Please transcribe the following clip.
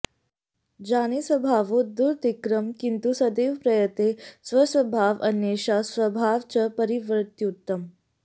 जाने स्वभावो दुरतिक्रमः किन्तु सदैव प्रयते स्वस्वभावं अन्येषां स्वभावं च परिवर्तयितुम्